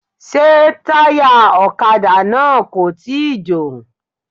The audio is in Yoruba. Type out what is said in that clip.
Ṣé táyà ọ̀kadà náà kò tíì jò.